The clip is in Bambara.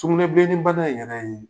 Sugunɛ bilenni bana in yɛrɛ ye